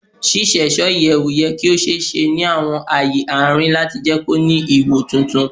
Ṣiṣeṣọ iyẹwu yẹ ki o ṣee ṣe ni awọn aaye arin lati jẹ ki o ni iwo tuntun